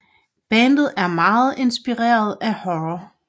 Bandet er meget inspireret af horror